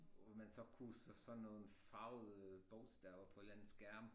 Hvor man så kunne så sådan nogle farvede øh bogstaver på en eller anden skærm